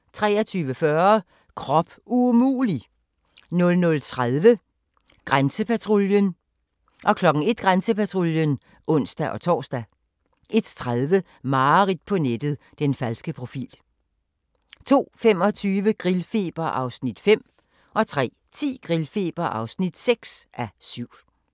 23:40: Krop umulig! 00:30: Grænsepatruljen 01:00: Grænsepatruljen (ons-tor) 01:30: Mareridt på nettet - den falske profil 02:25: Grillfeber (5:7) 03:10: Grillfeber (6:7)